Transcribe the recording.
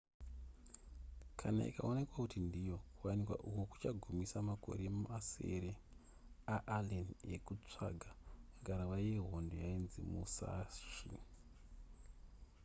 kana ikaonekwa kuti ndiyo kuwanikwa uku kuchagumisa makore masere aallen ekusvaga ngarava yehondo yainzi musashi